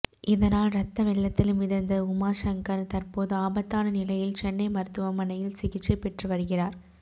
இதனால் ரத்த வெள்ளத்தில் மிதந்த உமாசங்கர் தற்போது ஆபத்தான நிலையில் சென்னை மருத்துவமனையில் சிகிச்சை பெற்று வருகிறார்